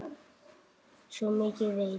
Svo mikið veit